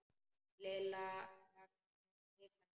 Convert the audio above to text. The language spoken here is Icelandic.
Lilla hikaði.